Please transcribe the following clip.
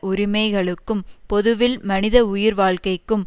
உரிமைகளுக்கும் பொதுவில் மனித உயிர் வாழ்க்கைக்கும்